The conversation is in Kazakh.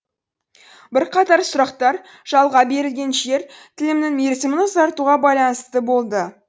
бірқатар сұрақтар жалға берілген жер тілімінің мерзімін ұзартуға байланысты болды